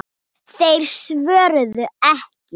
Þeir svöruðu ekki.